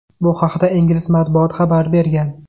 Bu haqda ingliz matbuoti xabar bergan.